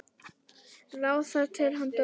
lá þar til hann dó.